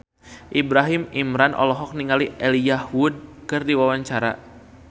Ibrahim Imran olohok ningali Elijah Wood keur diwawancara